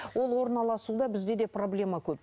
ол орналасуда бізде де проблема көп